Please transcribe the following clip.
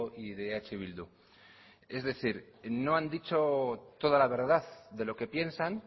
y de eh bildu es decir no han dicho toda la verdad de lo que piensan